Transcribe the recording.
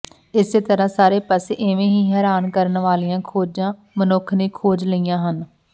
ਇਸੇ ਤਰ੍ਹਾਂ ਸਾਰੇ ਪਾਸੇ ਏਵੇਂ ਹੀ ਹੈਰਾਨ ਕਰਨ ਵਾਲ਼ੀਆਂ ਖੋਜਾਂ ਮਨੁੱਖ ਨੇ ਖੋਜ ਲਈਆਂ ਹਨ